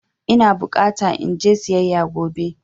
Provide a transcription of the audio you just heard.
Ina bukata in je siyayya gobe.